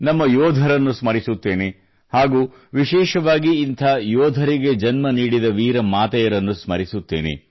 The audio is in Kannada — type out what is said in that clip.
ನಮ್ಮ ಯೋಧರನ್ನು ಸ್ಮರಿಸುತ್ತೇನೆ ಹಾಗೂ ವಿಶೇಷವಾಗಿ ಇಂಥ ಯೋಧರಿಗೆ ಜನ್ಮ ನೀಡಿದ ವೀರ ಮಾತೆಯರನ್ನು ಸ್ಮರಿಸುತ್ತೇನೆ